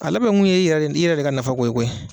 A labɛn kun ye i yɛrɛ i yɛrɛ de ka nafa ko ye koyi.